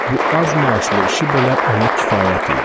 Bu az maaşlı işi belə ona kifayət idi.